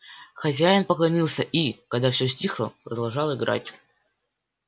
хозяин поклонился и когда все стихло продолжал играть